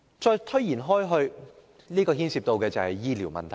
主席，延伸下去所牽涉的是醫療問題。